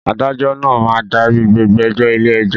Adájọ́ máa ń darí gbogbo ẹjọ́ ilé-ẹjọ́.